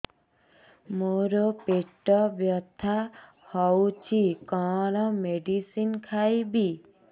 ମୋର ପେଟ ବ୍ୟଥା ହଉଚି କଣ ମେଡିସିନ ଖାଇବି